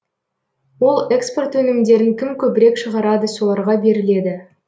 ол экспорт өнімдерін кім көбірек шығарады соларға беріледі